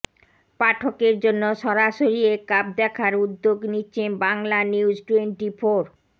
পাঠকের জন্য সরাসরি এ কাপ দেখার উদ্যোগ নিচ্ছে বাংলানিউজটোয়েন্টিফোর